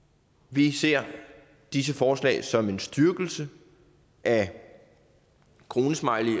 vi ser disse forslag som en styrkelse af kronesmiley